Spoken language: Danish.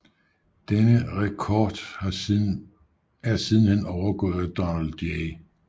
Denne rekord er sidenhen overgået af Donald J